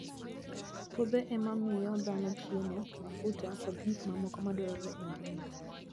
Puothe ema miyo dhano chiemo, mafuta, kod gik mamoko madwarore e ngima.